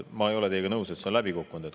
Ma ei ole teiega nõus, et see on läbi kukkunud.